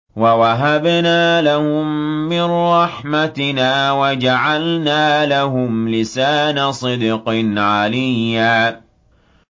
وَوَهَبْنَا لَهُم مِّن رَّحْمَتِنَا وَجَعَلْنَا لَهُمْ لِسَانَ صِدْقٍ عَلِيًّا